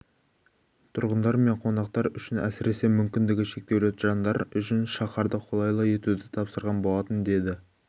тұрғындар мен қонақтар үшін әсіресе мүмкіндігі шектеулі жандар үшін шаһарды қолайлы етуді тапсырған болатын деді